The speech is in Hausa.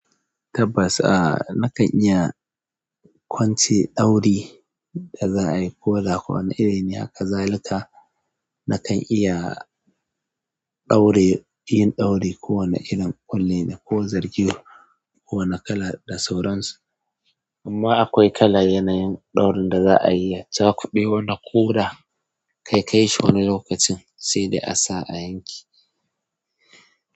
Tabbas, a nakan iya kwance ɗauri da za a yi ko da kowane iri ne haka. Zalika nakan iya ɗaure, yin ɗauri ko wane irin kwale ko zargi, ko wane kala da sauransu. Amma akwai kala yanayin ɗaurin da za a yi. Zaku ɓoye wannan ko da kai kayi shi wani lokacin sai da a sa a yanke.